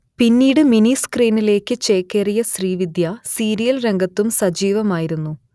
പിന്നീട് മിനി സ്ക്രീനിലേക്ക് ചേക്കേറിയ ശ്രീവിദ്യ സീരിയൽ രംഗത്തും സജീവമായിരുന്നു